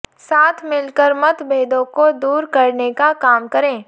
साथ मिलकर मतभेदों को दूर करने का काम करें